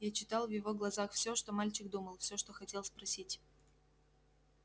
я читал в его глазах всё что мальчик думал все что хотел спросить